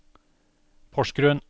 Porsgrunn